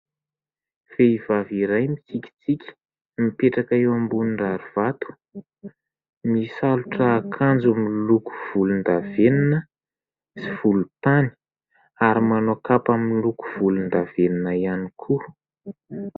Vehivavy iray mitsikitsiky mipetraka eo ambony rary vato misalotra akanjo miloko volondavenona sy volontany ary manao kapa miloko volondavenona ihany koa.